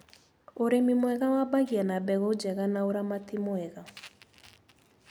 ũrĩmi mwega wambagia na mbegũ njega na ũramati mwega.